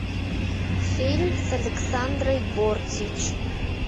фильм с александрой бортич